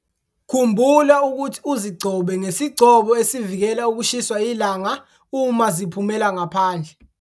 Khumbula ukuthi uzigcobe ngesigcobo esivikela ukushiswa ilanga uma ziphumela ngaphandle.